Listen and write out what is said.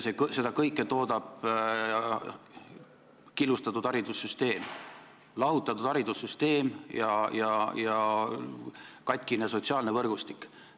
Seda kõike toodab killustatud, lahutatud haridussüsteem ja katkine sotsiaalne võrgustik.